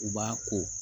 U b'a ko